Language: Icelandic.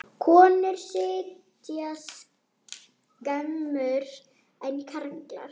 Konur sitja skemur en karlar.